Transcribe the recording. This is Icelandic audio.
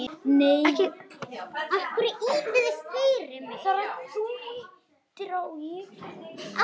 Olíuverð lækkar vegna skjálftans